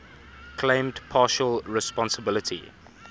claimed partial responsibility